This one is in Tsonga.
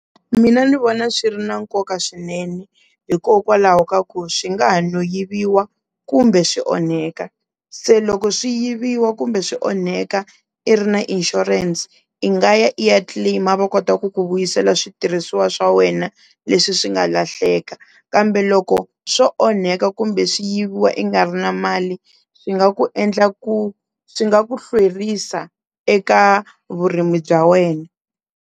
Mina ni vona swi ri na nkoka swinene hikokwalaho ka ku swi nga ha no yiviwa kumbe swi onheka, se loko swi yiviwa kumbe swi onheka i ri na insurance i nga ya i ya claim-a va kota ku ku vuyisela switirhisiwa swa wena leswi swi nga lahleka, kambe loko swo onheka kumbe swi yiviwa i nga ri na mali swi nga ku endla ku swi nga ku hlwerisa eka vurimi bya wena.